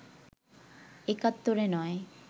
একাত্তরে নয়